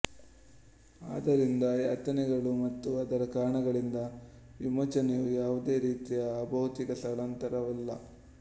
ಆದ್ದರಿಂದ ಯಾತನೆಗಳು ಮತ್ತು ಅದರ ಕಾರಣಗಳಿಂದ ವಿಮೋಚನೆಯು ಯಾವುದೇ ರೀತಿಯ ಅಬೌತಿಕ ಸ್ಥಳಾಂತರವಲ್ಲ